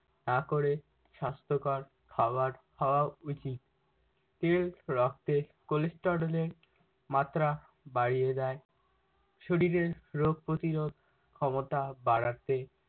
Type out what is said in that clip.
না করে সাস্থ্যকর খাওয়ার খাওয়া উচিৎ। তেল রক্তে cholesterol এর মাত্রা বাড়িয়ে দেয় শরীরের রোগ প্রতিরোধ ক্ষমতা বাড়াতে